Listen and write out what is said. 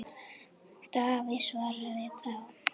Davíð svaraði þá